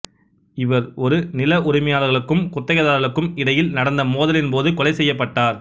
இவர் ஒரு நில உரிமையாளர்களுக்கும் குத்தகைதாரர்களுக்கும் இடையில் நடந்த மோதலின் போது கொலை செய்யப்பட்டார்